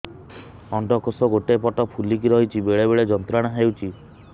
ଅଣ୍ଡକୋଷ ଗୋଟେ ପଟ ଫୁଲିକି ରହଛି ବେଳେ ବେଳେ ଯନ୍ତ୍ରଣା ହେଉଛି